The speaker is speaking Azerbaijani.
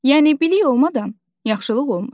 Yəni bilik olmadan yaxşılıq olmur.